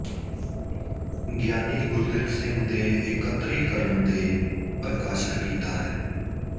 ਗਿਆਨੀ ਗੁਰਦਿੱਤ ਸਿੰਘ ਦੇ ਇੱਕਤਰੀਕਰਣ ਦੇ ਪ੍ਰਕਾਸ਼ਿਤ ਕੀਤਾ ਹੈ